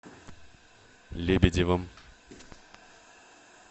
лебедевым